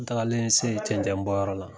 An tagalen se cɛnɛn bɔyɔrɔ la.